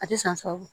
A tɛ san sab